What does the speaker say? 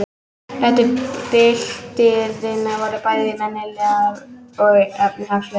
Rætur byltingarinnar voru bæði menningarlegar og efnahagslegar.